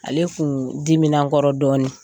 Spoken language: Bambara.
Ale kun dimina n kɔrɔ dɔɔnin,